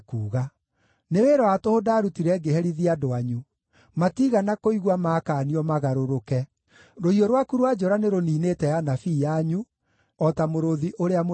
“Nĩ wĩra wa tũhũ ndaarutire ngĩherithia andũ anyu; matiigana kũigua maakaanio magarũrũke. Rũhiũ rwaku rwa njora nĩrũniinĩte anabii anyu, o ta mũrũũthi ũrĩa mũrĩĩani.